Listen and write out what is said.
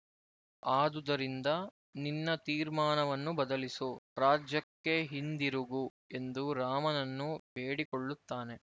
ಆದುದರಿಂದ ನಿನ್ನ ತೀರ್ಮಾನವನ್ನು ಬದಲಿಸು ರಾಜ್ಯಕ್ಕೆ ಹಿಂದಿರುಗು ಎಂದು ರಾಮನನ್ನು ಬೇಡಿಕೊಳ್ಳುತ್ತಾನೆ